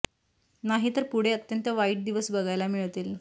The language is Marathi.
नाही तर पुढे अत्यंत वाईट दिवस बघायला मिळतील